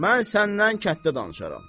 Mən səndən kətdə danışaram.